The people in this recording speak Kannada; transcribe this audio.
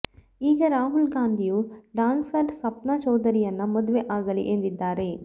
ಈಗ ರಾಹುಲ್ ಗಾಂಧಿಯೂ ಡ್ಯಾನ್ಸರ್ ಸಪ್ನಾ ಚೌಧರಿಯನ್ನ ಮದ್ವೆ ಆಗಲಿ ಎಂದಿದ್ದಾರೆ